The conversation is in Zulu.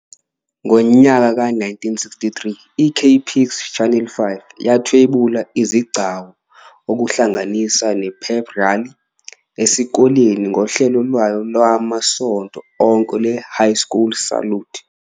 Ngo-1963, i- KPIX, Channel 5, yathwebula izigcawu, okuhlanganisa ne-pep rally, esikoleni ngohlelo lwayo lwamasonto onke lwe- "High School Salute."